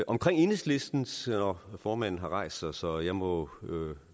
omkring enhedslistens nå formanden har rejst sig så jeg må